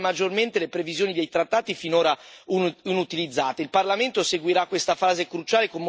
Un avvenimento storico che permetterà di sfruttare maggiormente le disposizioni dei trattati finora inutilizzate.